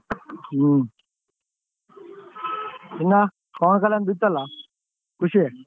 ಹ್ಮ್. ಇನ್ನ ಪವನ್ ಕಲ್ಯಾಣ್ ದ್ ಇತ್ತಲ್ಲಾ ಖುಷಿ.